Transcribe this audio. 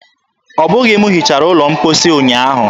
Ọbụghị m hichara ụlọ mposi ụnyaahụ.